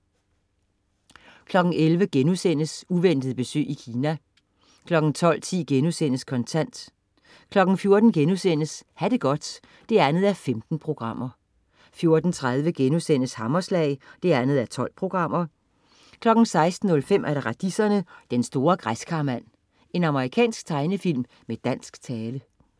11.00 Uventet besøg i Kina* 12.10 Kontant* 14.00 Ha' det godt 2:15* 14.30 Hammerslag 2:12* 16.05 Radiserne: Den store Græskarmand. Amerikansk tegnefilm med dansk tale